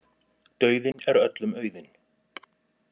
Dauðinn er öllum auðinn.